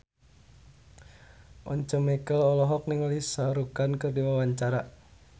Once Mekel olohok ningali Shah Rukh Khan keur diwawancara